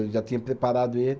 Eu já tinha preparado ele.